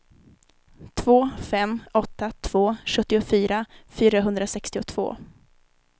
två fem åtta två sjuttiofyra fyrahundrasextiotvå